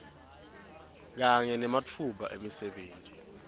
kanye nematfuba emisebenti